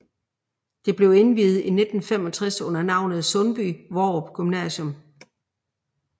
Det blev indviet i 1965 under navnet Sundby Hvorup Gymnasium